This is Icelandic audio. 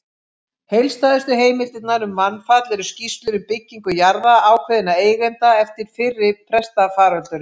Heildstæðustu heimildirnar um mannfall eru skýrslur um byggingu jarða ákveðinna eigenda eftir fyrri pestarfaraldurinn.